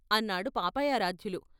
అన్నాడు పాపయారాధ్యులు.